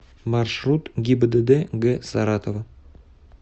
маршрут гибдд г саратова